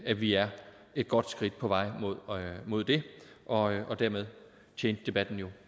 at vi er et godt skridt på vej mod det og dermed tjente debatten jo